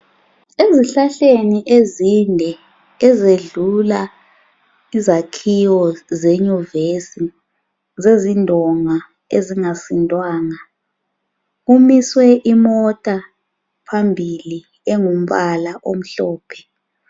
Ezihlahleni ezinde ezedlula izakhiwo zenyuvesi zezindonga ezingasindwanga kumiswe imota phambili engumbala omhlophe.